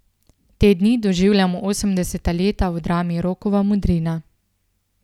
Te dni doživljamo osemdeseta leta v drami Rokova modrina.